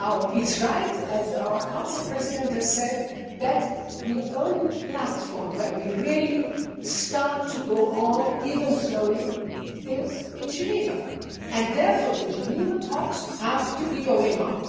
It is right, as the Council President said, that the only platform where we really start to go on, even slowly, is in Geneva, and so the Geneva talks have to go on.